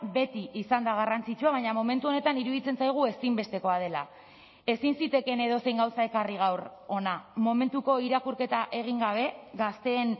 beti izan da garrantzitsua baina momentu honetan iruditzen zaigu ezinbestekoa dela ezin zitekeen edozein gauza ekarri gaur hona momentuko irakurketa egin gabe gazteen